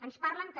ens parlen també